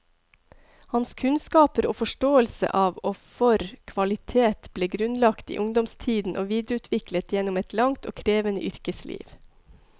Hans kunnskaper og forståelse av og for kvalitet ble grunnlagt i ungdomstiden og videreutviklet gjennom et langt og krevende yrkesliv.